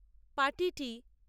পাটিটি